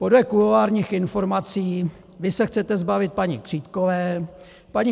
Podle kuloárních informací vy se chcete zbavit paní Křítkové, paní